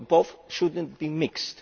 So both should not be mixed.